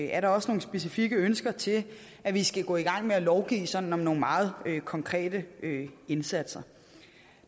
er der også nogle specifikke ønsker til at vi skal gå i gang med at lovgive sådan om nogle meget konkrete indsatser